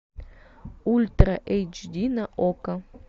ультра эйч ди на окко